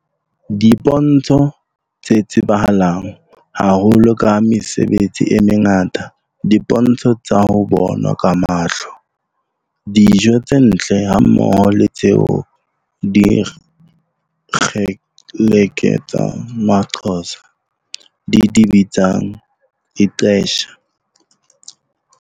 Dipontsho tse tsebahalang haholo ka mesebetsi e mengata, dipontsho tsa ho bonwa ka mahlo, dijo tse ntle hammoho le tseo dikgeleke tsa Maxhotsa di di bitsang ixesha elimyoli, e leng nako e ntle ya thabo le nyakallo.